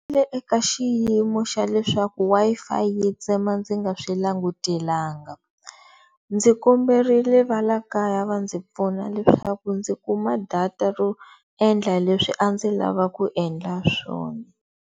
eka xiyimo xa leswaku Wi-Fi yi tsema ndzi nga swi langutelanga, ndzi komberile va la kaya va ndzi pfuna leswaku ndzi kuma data ro endla leswi ndzi lava ku endla swona.